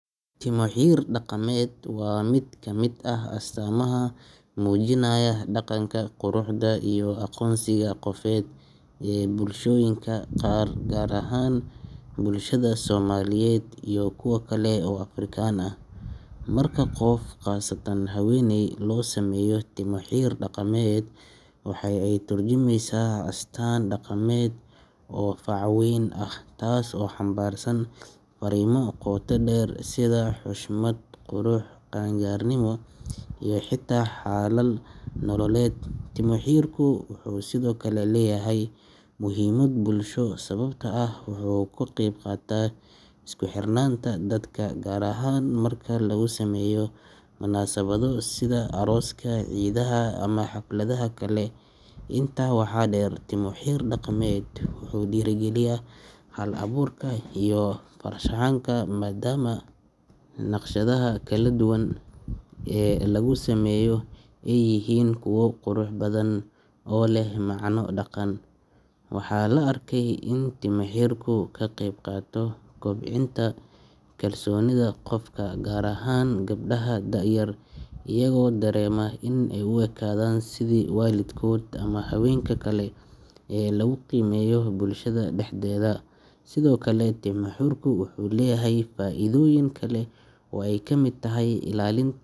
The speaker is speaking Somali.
Timo-xir daqameed waa mid ka mid ah astaamaha muujinaya dhaqanka, quruxda iyo aqoonsiga qofeed ee bulshooyinka qaar, gaar ahaan bulshada Soomaaliyeed iyo kuwa kale oo Afrikaan ah. Marka qof, khaasatan haweeney, loo sameeyo timo-xir daqameed, waxa ay ka tarjumaysaa astaan dhaqameed oo fac-weyn ah taas oo xambaarsan farriimo qoto dheer sida xushmad, qurux, qaan-gaarnimo, iyo xitaa xaalad nololeed. Timo-xirku waxa uu sidoo kale leeyahay muhiimad bulsho, sababtoo ah waxa uu ka qayb qaataa isku xirnaanta dadka, gaar ahaan marka lagu sameeyo munaasabado sida arooska, ciidaha, ama xafladaha kale. Intaa waxaa dheer, timo-xir daqameed wuxuu dhiirrigeliyaa hal-abuurka iyo farshaxanka, maadaama naqshadaha kala duwan ee lagu sameeyo ay yihiin kuwo qurux badan oo leh macno dhaqan. Waxaa la arkay in timo-xirku ka qayb qaato kobcinta kalsoonida qofka, gaar ahaan gabdhaha da’da yar, iyagoo dareema in ay u ekaadeen sidii waalidkood ama haweenka kale ee lagu qiimeeyo bulshada dhexdeeda. Sidoo kale, timo-xirku wuxuu leeyahay faa’iidooyin kale oo ay ka mid tahay ilaalin.